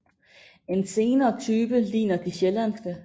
En senere type ligner de sjællandske